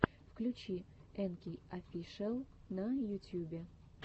включи энкей офишиал на ютьюбе